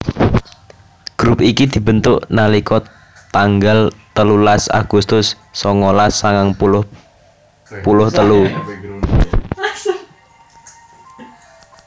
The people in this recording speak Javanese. grup iki dibentuk nalika tanggal telulas agustus songolas sangang puluh puluh telu